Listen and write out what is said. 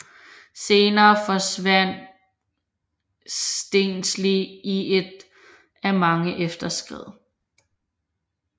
Senere forsvandt Stensli i et af de mange efterskred